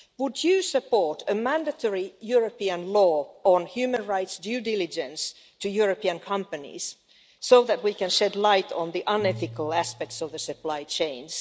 Would you support a mandatory European law on human rights due diligence to European companies so that we can shed light on the unethical aspects of the supply chains?